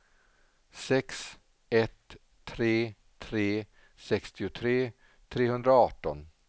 sex ett tre tre sextiotre trehundraarton